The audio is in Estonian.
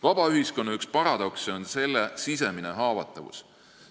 Vaba ühiskonna üks paradokse on selle sisemine haavatavus.